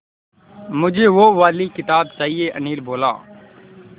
मुझे वो वाली किताब चाहिए अनिल बोला